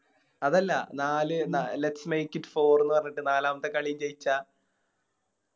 അതല്ല നാല് Lets make it four എന്ന് പറഞ്ഞിട്ട് നാലാമത്തെ കളി ജയിച്ച